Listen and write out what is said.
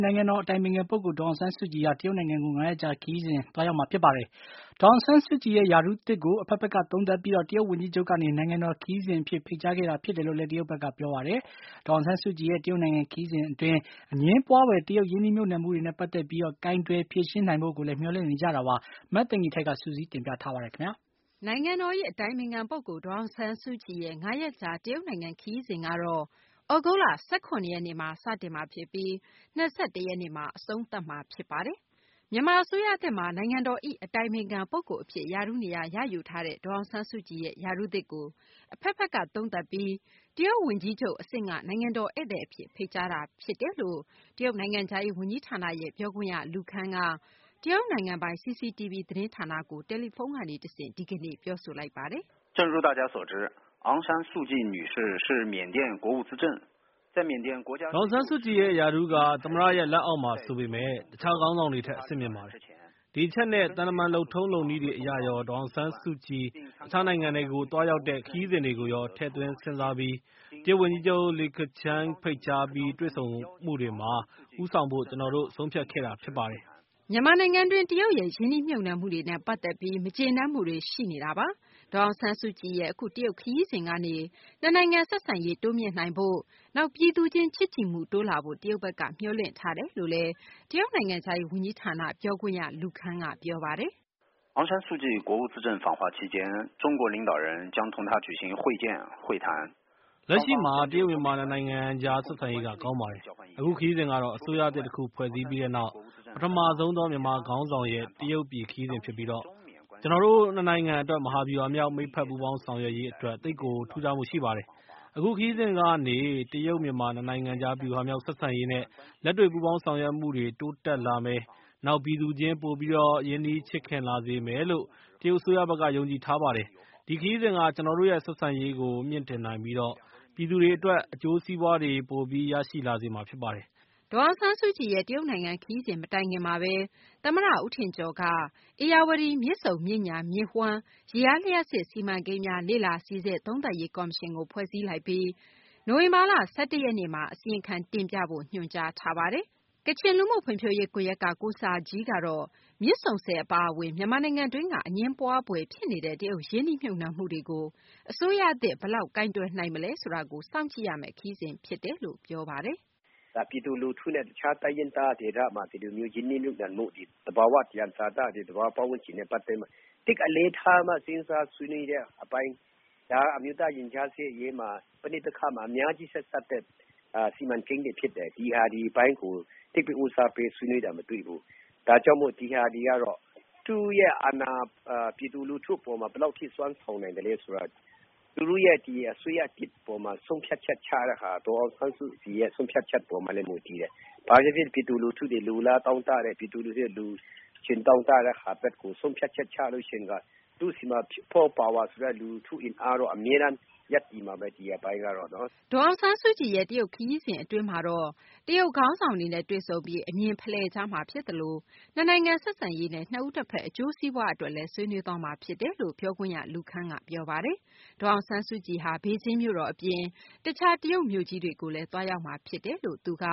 နိုင်ငံတော် အတိုင်ပင်ခံပုဂ္ဂိုလ် ဒေါ်အောင်ဆန်းစုကြည်ဟာ မကြာခင် ရက်ပိုင်း အတွင်း တရုတ်နိုင်ငံကို ၅ ရက်ကြာ ခရီးစဉ်သွားရောက်မှာ ဖြစ်ပါတယ်။ ဒေါ်အောင်ဆန်းစုကြည်ရဲ့ ရာထူးသစ်ကို အဘက်ဘက်က သုံးသပ်ပြီး တရုတ် ဝန်ကြီးချုပ်ကနေ နိုင်ငံတော် ခရီးစဉ် အဖြစ် ဖိတ်ကြားခဲ့တာ ဖြစ်တယ်လို့လည်း တရုတ်ဘက်က ပြောပါတယ်။ ဒေါ်အောင်ဆန်းစုကြည်ရဲ့ တရုတ်နိုင်ငံ ခရီးစဉ် အတွင်း အငြင်းပွားဖွယ် တရုတ်ရင်းနှီးမြှုပ်နှံမှုတွေနဲ့ ပတ်သက်ပြီး ကိုင်တွယ်ဖြေရှင်းနိုင်ဖို့ကိုလည်း မျှော်လင့်နေကြတာပါ။ မသိင်္ဂ ီထိုက် စုစည်းတင်ပြထားပါတယ်။ နိုင်ငံတော်၏ အတိုင်ပင်ခံ ပုဂ္ဂိုလ် ဒေါ်အောင်ဆန်းစုကြည်ရဲ့ ၅ ရက်ကြာ တရုတ်နိုင်ငံ ခရီးစဉ်ကတော့ သြဂုတ်လ ၁၇ ရက်နေ့မှာ စတင်မှာ ဖြစ်ပြီး ၂၁ ရက်နေ့မှာ အဆုံးသတ်မှာ ဖြစ်ပါတယ်။ မြန်မာ အစိုးရသစ်မှာ နိုင်ငံတော်၏ အတိုင်ပင်ခံ ပုဂ္ဂိုလ် အဖြစ် ရာထူးနေရာ ရယူထားတဲ့ ဒေါ်အောင်ဆန်းစုကြည်ရဲ့ ရာထူးသစ်ကို အဘက်ဘက်က သုံးသပ်ပြီး တရုတ် ဝန်ကြီးချုပ် အဆင့်က နိုင်ငံတော် ဧည့်သည် အဖြစ် ဖိတ်ကြားတာ ဖြစ်ပါတယ်။ တရုတ် နိုင်ငံခြားရေး ဝန်ကြီးဌာန ပြောခွင့်ရ Lu Kang က တရုတ်နိုင်ငံပိုင် CCTV သတင်းဌာနကို တယ်လီဖုန်းကနေ တဆင့် ဒီကနေ့ အခုလို ပြောဆိုပါတယ်။ “ဒေါ်အောင်ဆန်းစုကြည်ရဲ့ ရာထူးက သမ္မတရဲ့ လက်အောက်မှာ ဆိုပေမယ့် တခြား ခေါင်းဆောင်တွေထက် အဆင့်မြင့်ပါတယ်။ ဒီအချက်နဲ့ သံတမန် လုပ်ထုံးလုပ်နည်းတွေ အရရော ဒေါ်အောင်ဆန်းစုကြည် တခြားနိုင်ငံတွေကို သွားရောက်တဲ့ ခရီးစဉ်တွေကိုရော ထည့်သွင်း စဉ်းစားပြီး တရုတ် ဝန်ကြီးချုပ် လီခချန်းက ဖိတ်ကြားပြီး တွေ့ဆုံမှုတွေမှာ ဦးဆောင်ဖို့ ကျနော်တို့ ဆုံးဖြတ်ခဲ့တာ ဖြစ်ပါတယ်။” မြန်မာနိုင်ငံတွင်း တရုတ်ရဲ့ ရင်းနှီးမြှုပ်နှံမှုတွေနဲ့ ပတ်သတ်ပြီး မကျေနပ်မှုတွေ ရှိနေတာပါ။ ဒေါ်အောင်ဆန်းစုကြည်ရဲ့ အခု တရုတ် ခရီးစဉ်ကနေ နှစ်နိုင်ငံ ဆက်ဆံရေး တိုးမြှင့်နိုင်ဖို့၊ နောက် ပြည်သူချင်း ချစ်ကြည်မှု တိုးလာဖို့ တရုတ်ဘက်က မျှော်လင့်ထားတယ်လို့လည်း တရုတ်နိုင်ငံခြားရေး ဝန်ကြီးဌာန ပြောခွင့်ရ Lu Kang က ပြောပါတယ်။ “လက်ရှိမှာ တရုတ် - မြန်မာ နှစ်နိုင်ငံကြား ဆက်ဆံရေးက ကောင်းပါတယ်။ အခု ခရီးစဉ်ကတော့ အစိုးရသစ် တခု ဖွဲ့စည်းပြီးနောက် ပထမဆုံးသော မြန်မာ ခေါင်းဆောင်ရဲ့ တရုတ်ပြည် ခရီးစဉ် ဖြစ်ပြီး ကျနော်တို့ နှစ်နိုင်ငံ အတွက် မဟာဗျူဟာမြောက် မိတ်ဖက် ပူးပေါင်းဆောင်ရွက်ရေး အတွက် သိပ်ကို ထူးခြားမှု ရှိပါတယ်။ အခု ခရီးစဉ်ကနေ တရုတ် - မြန်မာ နှစ်နိုင်ငံကြား ဗျူဟာမြောက် ဆက်ဆံရေးနဲ့ လက်တွေ့ ပူးပေါင်းဆောင်ရွက်မှုတွေ တိုးတက်လာမယ်၊ နောက် ပြည်သူချင်း ပိုပြီး ရင်းနှီးချစ်ခင်လာစေမယ်လို့ တရုတ် အစိုးရဘက်က ယုံကြည်ထားပါတယ်။ ဒီခရီးစဉ်က ကျနော်တို့ရဲ့ ဆက်ဆံရေးကို မြှင့်တင်နိုင်ပြီး ပြည်သူတွေ အတွက် အကျိုးစီးပွားတွေ ပိုပြီး ရရှိလာစေမှာ ဖြစ်ပါတယ်။” ဒေါ်အောင်ဆန်းစုကြည်ရဲ့ တရုတ်နိုင်ငံ ခရီးစဉ် မတိုင်ခင်မှာဘဲ သမ္မတ ဦးထင်ကျော်က ဧရာဝတီ - မြစ်ဆုံ မြစ်ညာ မြစ်ဝှမ်းရေအား လျှပ်စစ်စီမံကိန်းများ လေ့လာစိစစ် သုံးသပ်ရေး ကော်မရှင်ကို ဖွဲ့စည်းလိုက်ပြီး နိုဝင်ဘာလ ၁၁ ရက်နေ့မှာ အစီရင်ခံ တင်ပြဖို့ ညွှန်ကြားထားပါတယ်။ ကချင်လူမှု ဖွံ့ဖြိုးရေး ကွန်ယက်က ကိုစာဂျီးကတော့ မြစ်ဆုံဆည် အပါအဝင် မြန်မာနိုင်ငံတွင်းက အငြင်းပွားဖွယ် ဖြစ်နေတဲ့ တရုတ် ရင်းနှီးမြှုပ်နှံမှုတွေကို အစိုးရသစ် ဘယ်လောက် ကိုင်တွယ်နိုင်မလဲ ဆိုတာကို စောင့်ကြည့်ရမယ့် ခရီးစဉ် ဖြစ်တယ်လို့ ပြောဆိုပါတယ်။ “ဒါပြည်သူလူထုနဲ့ တခြားတိုင်းရင်းသားဒေသတွေမှာ ဒီလိုမျိုးရင်းနှီးမြုပ်နှံမှုတွေ ၊ သဘာ၀ သံယံဇာတတွေ ၊ သဘာဝပတ်ဝန်းကျင်တွေနဲ့ ပတ်သက်ပြီးတော့မှ သိပ်အလေးထားပြီးတော့မှ စဉ်းစားဆွေးနွေးတဲ့အပိုင်း ဒါကအမျိုးသားရင်ကြားစေ့ရေးမှာ ပဋိပက္ခတွေမှာ အများကြီး ဆက်စပ်တဲ့စီမံကိန်းတွေဖြစ်တယ်။ ဒီဟာတွေအပိုင်းကို သိပ်ပြီး ဦးစားပေးဆွေးနွေးတာမတွေ့ဘူး။ ဒါကြောင့်မို့ ဒီဟာတွေကတော့ သူရဲ့အာဏာ ပြည်သူလူထုအပေါ်မှာ ဘယ်လောက်အထိစွမ်းဆောင်နိုင်မလဲဆိုတာ အစိုးရသစ်အပေါ်မှာဆုံးဖြတ်ချက်ချတာက ဒေါ်အောင်ဆန်းစုကြည်ရဲ့ ဆုံးဖြတ်ချက်အပေါ်မှာလည်း မူတည်နေပါတယ်။ ဘာပဲဖြစ်ဖြစ် ပြည်သူလူထူတွေ လိုလားတောင့်တတဲ့၊ လိုချင်တောင့်တတဲ့ဘက်ကို ဆုံးဖြတ်ချက်ချရင်တော့ သူ့ဆီမှာ people power ဆိုတဲ့ လူထုအင်အားကတော့ အမြဲတမ်းရပ်တည်နေမှာပဲ ဒီအပိုင်းကတော့နော်။” ဒေါ်အောင်ဆန်းစုကြည်ရဲ့ တရုတ် ခရီးစဉ် အတွင်းမှာတော့ တရုတ်ခေါင်းဆောင်တွေနဲ့ တွေ့ဆုံပြီး အမြင်ဖလှယ်ကြမှာ ဖြစ်သလို နှစ်နိုင်ငံ ဆက်ဆံရေးနဲ့ နှစ်ဦး နှစ်ဘက် အကျိုးစီးပွားအတွက်လည်း ဆွေးနွေးသွားမှာ ဖြစ်တယ်လို့ ပြောခွင့်ရ Lu Kang က ပြောပါတယ်။ ဒေါ်အောင်ဆန်းစုကြည်ဟာ ဘေဂျင်းမြို့တော် အပြင် တခြား တရုတ် မြို့ကြီးတွေကိုလည်း သွားရောက်မှာ ဖြစ်တယ်လို့လည်း သူက